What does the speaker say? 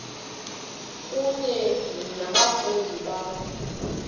kunye nabafundi bakho